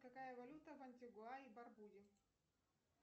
какая валюта в антигуа и барбуде